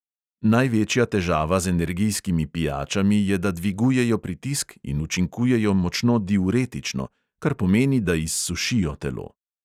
Največja težava z energijskimi pijačami je, da dvigujejo pritisk in učinkujejo močno diuretično, kar pomeni, da izsušijo telo.